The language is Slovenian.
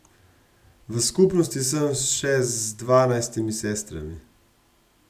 V skupnosti sem še z dvanajstimi sestrami.